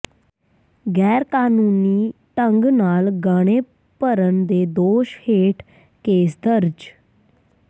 ਗੈਰਕਾਨੂੰਨੀ ਢੰਗ ਨਾਲ ਗਾਣੇ ਭਰਨ ਦੇ ਦੋਸ਼ ਹੇਠ ਕੇਸ ਦਰਜ